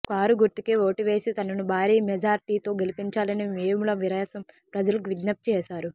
car గుర్తుకే vote వేసి తనను భారీ మెజార్టీతో గెలిపించాలని వేముల వీరేశం ప్రజలకు విజ్ఞప్తి చేశారు